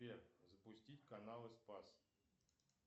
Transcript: сбер запустить каналы спас